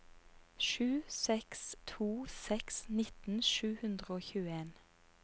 sju seks to seks nitten sju hundre og tjueen